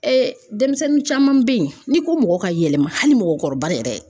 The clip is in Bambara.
denmisɛnnin caman bɛ ye n'i ko mɔgɔ ka yɛlɛma hali mɔgɔkɔrɔba yɛrɛ.